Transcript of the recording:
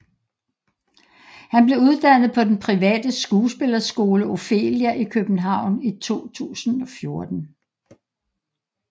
Han blev uddannet på den private skuespillerskole Ophelia i København i 2014